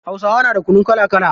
Hausawa na da kunu kala kala.